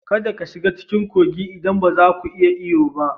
Kada ka shiga cikin kogin idan ba za ku iya yin iyo ba